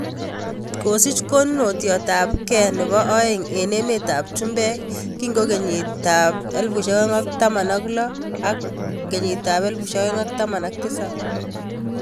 Kosich konunotiot ab keek nebo aeng eng' emet ab chumbek kingo kenyit ab 2016/17.